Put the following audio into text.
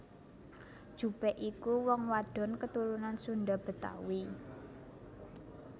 Jupe iku wong wadon keturunan Sunda Betawi